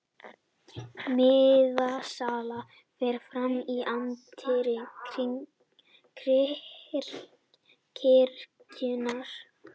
Miðasala fer fram í anddyri kirkjunnar